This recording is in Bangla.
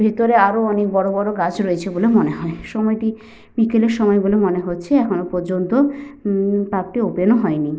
ভিতরে আরো অনেক বড়বড় গাছ রয়েছে বলে মনে হয়। সময়টি বিকেলের সময় বলে মনে হচ্ছে। এখনো পর্যন্ত উম পার্ক টি ওপেন ও হয়নি।